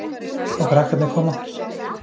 Og krakkarnir koma.